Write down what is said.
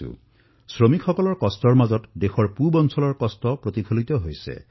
আজি আমাৰ শ্ৰমিকসকল পীড়াত দেশৰ পূৰ্বাঞ্চলৰ পীড়া দেখিবলৈ পাইছো